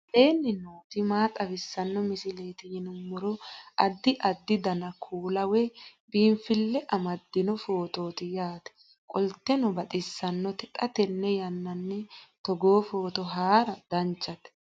aleenni nooti maa xawisanno misileeti yinummoro addi addi dananna kuula woy biinsille amaddino footooti yaate qoltenno baxissannote xa tenne yannanni togoo footo haara danvchate